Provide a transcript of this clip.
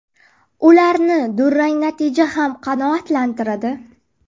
Ularni durang natija ham qanoatlantiradi.